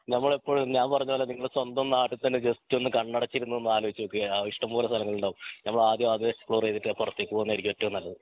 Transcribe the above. നമ്മളെപ്പോഴും ഞാൻ പറഞ്ഞ പോലെ നിങ്ങൾ സ്വന്തം നാട്ടിൽ തന്നെ ജസ്റ്റ് ഒന്ന് കണ്ണടച്ചിരുന്ന് ഒന്ന് ആലോചിച്ച് നോക്ക് ഇഷ്ടംപോലെ സ്ഥലങ്ങളുണ്ടാവും നമ്മൾ ആദ്യം അത് എക്‌സ്‌പ്ലോർ ചെയ്തിട്ട് പ്രതേക പോകുന്നതെയിരിക്കും ഏറ്റവും നല്ലത്